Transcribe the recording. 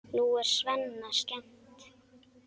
Nú er Svenna skemmt.